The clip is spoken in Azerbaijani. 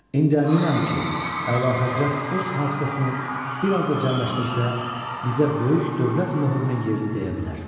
İndi əminəm ki, əlahəzrət öz hafizəsini bir az da cəmləşdirsə, bizə böyük dövlət möhrünün yerini deyə bilər.